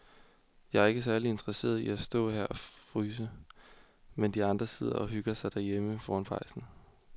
Jeg er ikke særlig interesseret i at stå og fryse her, mens de andre sidder og hygger sig derhjemme foran pejsen.